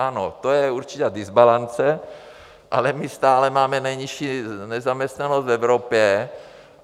Ano, to je určitá dysbalance, ale my stále máme nejnižší nezaměstnanost v Evropě.